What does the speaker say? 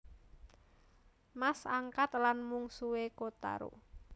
Mas angkat lan mungsuhé Kotaro